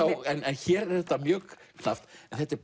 hér er þetta mjög knappt en þetta er